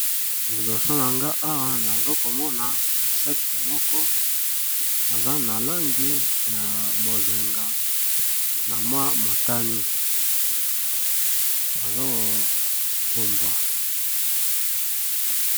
Liboso na nga nazokomona insecte moko aza na langi ya bozenga na mwa motani azoko pombwa.